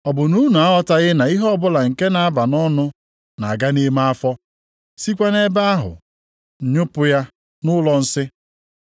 Ọ bụ na unu aghọtaghị na ihe ọbụla nke na-aba nʼọnụ na-aga nʼime afọ, sịkwa nʼebe ahụ a nyụpụ ya nʼụlọ nsị?